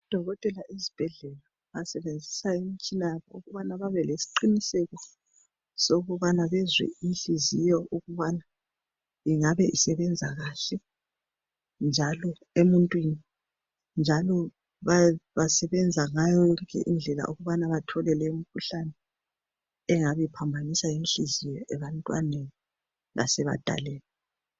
Odokotela ezibhedlela basebenzisa imitshina ukuthi bebelesiqiniseko ukubana bezwe inhliziyo ukubana ingabe isebenza kahle emuntwini njalo basebenza ngayo zonke indlela ukubana bethole imikhuhlane engabe iphambanisa inhliziyo ebantwaneni lasebadaleni.